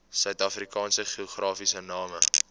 suidafrikaanse geografiese name